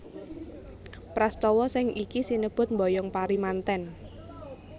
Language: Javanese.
Prastawa sing iki sinebut mboyong pari mantèn